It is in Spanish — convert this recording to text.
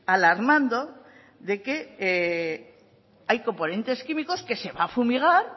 alarmando de que hay componentes químicos que se va a fumigar